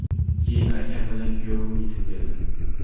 Keyin akam bilan kuyovim yetib keldi.